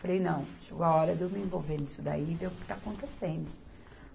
Falei, não, chegou a hora de eu me envolver nisso daí e ver o que está acontecendo.